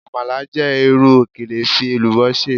Amala jẹ iru okele fi elubo ṣe